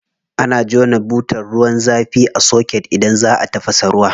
Ana jona butar ruwan zafi a soket idan za a tafasa ruwa.